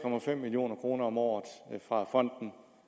million kroner om året fra fonden